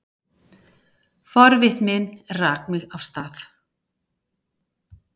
Forvitnin rak mig af stað.